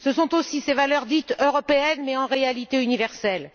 ce sont aussi ces valeurs dites européennes, mais en réalité universelles.